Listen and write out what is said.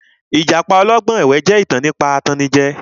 Ìtan trístà jẹ́ ìtàn nípa atannijẹ